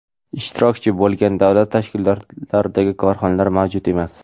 ishtirokchi) bo‘lgan davlat ishtirokidagi korxonalar mavjud emas.